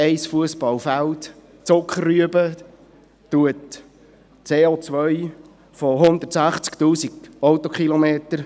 Ein Fussballfeld Zuckerrüben kompensiert das CO von 160 000 Autokilometern.